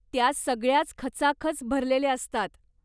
त्या सगळ्याच खचाखच भरलेल्या असतात.